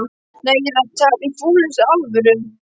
Nei, ég er að tala í fúlustu alvöru